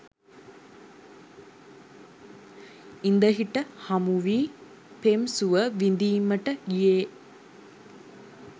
ඉඳ හිට හමුවී පෙම් සුව විඳීමට ගියේ